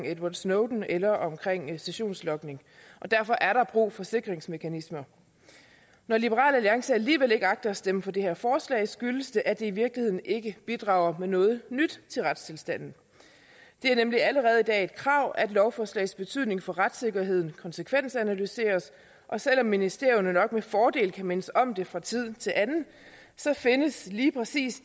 edward snowden eller om sessionslogning og derfor er der brug for sikringsmekanismer når liberal alliance alligevel ikke agter at stemme for det her forslag skyldes det at det i virkeligheden ikke bidrager med noget nyt til retstilstanden det er nemlig allerede i dag et krav at lovforslags betydning for retssikkerheden konsekvensanalyseres og selv om ministerierne jo nok med fordel kan mindes om det fra tid til anden så findes lige præcis